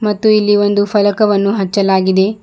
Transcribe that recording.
ಮತ್ತು ಇಲ್ಲಿ ಒಂದು ಫಲಕವನ್ನು ಹಚ್ಚಲಾಗಿದೆ.